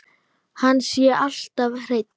Hann sé alltaf hreinn.